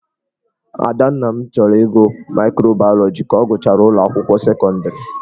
Adanna chọrọ ịgụ maịkrobaịọlogi ka ọ gachara ụlọ akwụkwọ sekọndịrị.